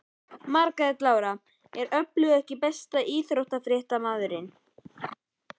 Margrét Lára er öflug EKKI besti íþróttafréttamaðurinn?